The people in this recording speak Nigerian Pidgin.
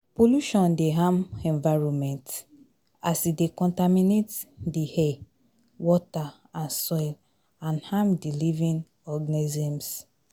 pollution dey harm environment as e dey contaminate di air, water and soil and harm di living organisms.